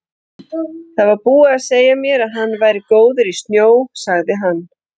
Það var búið að segja mér að hann væri góður í snjó, sagði hann.